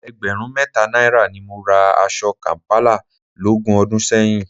Ẹgbẹ̀rún mẹ́ta náírà ni mo ra aṣọ kàm̀pálà lógún ọdún sẹ́yìn